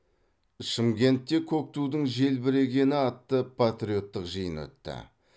шымкентте көк тудың желбірегені атты патриоттық жиын өтті